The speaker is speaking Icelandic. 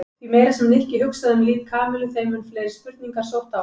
Því meira sem Nikki hugsaði um líf Kamillu þeim mun fleiri spurningar sóttu á hann.